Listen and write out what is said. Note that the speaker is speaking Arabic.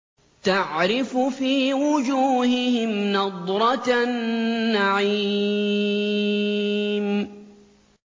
تَعْرِفُ فِي وُجُوهِهِمْ نَضْرَةَ النَّعِيمِ